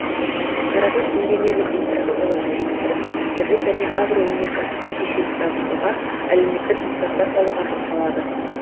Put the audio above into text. қаражат инженерлік инфрақұрылымды жетілдіріп кәсіпкерлік пен агроөнеркәсіптік кешенді дамытуға әлеуметтік нысандар салуға жұмсалады